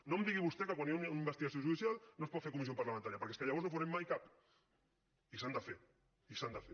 no em digui vostè que quan hi ha una investigació judicial no es pot fer en comissió parlamentària perquè és que llavors no en farem mai cap i s’han de fer i s’han de fer